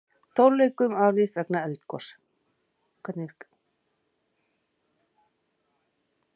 Tónleikum aflýst vegna eldgoss